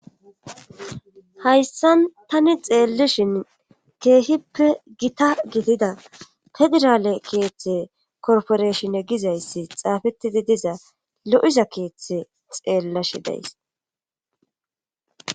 hayssan tani xeellashin keehippe gita gidida federale keeththe korporeshine gizayssi xaafetidi diza lo'iza keeththe xeellashe days.